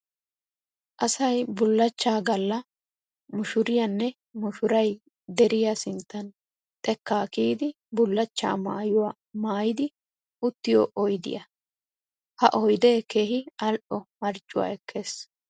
Asay bullachchaa Galla mushuriyaanne mushuray deriya sinttan xekkaa kiyidi bullachchaa mayyuwa mayyidi uttiyo oyidiya. Ha oyidee keehi al'o marccuwa ekkes.